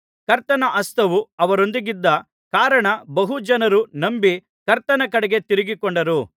ಕರ್ತನ ಹಸ್ತವು ಅವರೊಂದಿಗಿದ್ದ ಕಾರಣ ಬಹು ಜನರು ನಂಬಿ ಕರ್ತನ ಕಡೆಗೆ ತಿರುಗಿಕೊಂಡರು